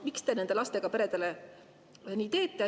Miks te nendele lastega peredele nii teete?